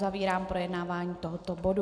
Uzavírám projednávání tohoto bodu.